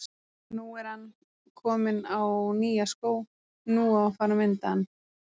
Nú er ann kominn á nýja skó, nú á að fara að mynda ann.